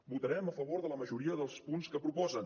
votarem a favor de la majoria dels punts que proposen